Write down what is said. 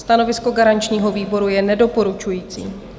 Stanovisko garančního výboru je nedoporučující.